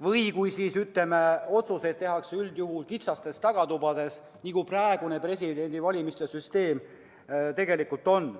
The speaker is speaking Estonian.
või kui, ütleme, otsuseid tehakse üldjuhul kitsastes tagatubades, nagu praeguse presidendi valimise süsteemi puhul tegelikult on.